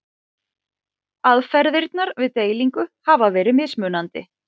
Aðferðirnar við deilingu hafa verið mismunandi.